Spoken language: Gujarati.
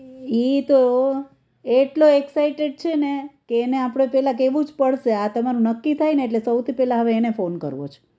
ઈ તો એટલો excited છે ને કે એને આપણે પેલા કેવું જ પડશે આ તમારું નક્કી થાય ને એટલે સૌથી પેલા હવે એને ફોન કરવો છે